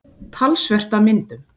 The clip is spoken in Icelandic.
Talsvert af myndum.